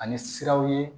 Ani siraw ye